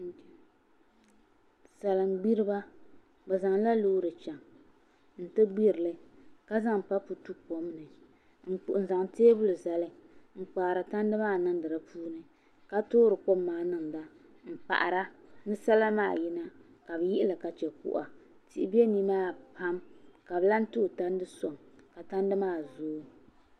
Salin gbiriba bi zaŋla loori chɛŋ n ti gbirili ka zaŋ papu tu kom ni n zaŋ teebuli zali n kpaari tandi maa niŋdi di puuni ka toori kom maa niŋda n paɣara ni salima maa yina ka bi yihili ka chɛ kuɣa tihi bɛ nimaani ha ka bi lahi tooi tandi soŋ ka tandi maa zooi